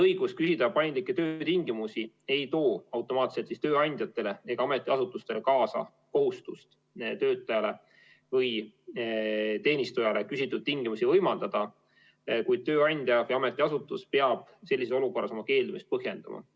Õigus küsida paindlikke töötingimusi ei too automaatselt tööandjatele ega ametiasutustele kaasa kohustust töötajale või teenistujale küsitud tingimusi võimaldada, kuid tööandja või ametiasutus peab sellises olukorras oma keeldumist põhjendama.